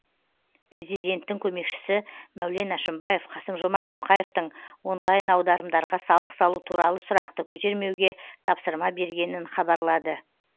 президенттің көмекшісі мәулен әшімбаев қасым жомарт тоқаевтың онлайн аударымдарға салық салу туралы сұрақты көтермеуге тапсырма бергенін хабарлады